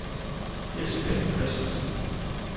Elsebeth Christiansen